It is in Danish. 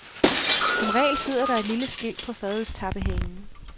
Som regel sidder der et lille skilt på fadølstappehanen.